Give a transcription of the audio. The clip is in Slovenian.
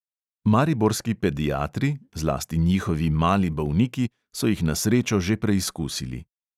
Mariborski pediatri, zlasti njihovi mali bolniki, so jih na srečo že preizkusili.